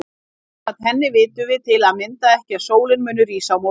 Samkvæmt henni vitum við til að mynda ekki að sólin muni rísa á morgun.